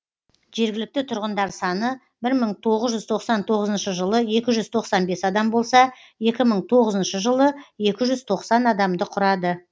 жергілікті тұрғындар саны бір мың тоғыз жүз тоқсан тоғызыншы жылы екі жүз тоқсан бес адам болса екі мың тоғызыншы жылы екі жүз тоқсан адамды құрады